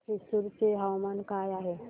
आज थ्रिसुर चे हवामान काय आहे